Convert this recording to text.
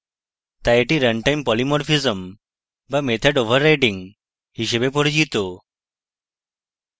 তাই এটি runtime polymorphism বা method overriding হিসাবে পরিচিত